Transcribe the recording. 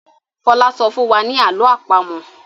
Fola sọfún wá ní àlọ́ àpamọ̀.